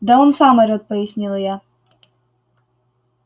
да он сам орёт пояснила я